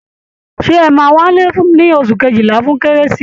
Ṣé ẹ̀ máa wálé ní oṣù kejìlá fún kérésì?